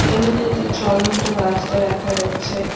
এখানে একটি চলন্ত রাস্তা দেখা যাচ্ছে।